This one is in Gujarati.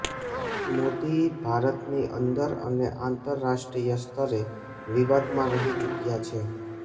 મોદી ભારતની અંદર અને આંતરરાષ્ટ્રીય સ્તરે વિવાદમાં રહી ચૂક્યા છે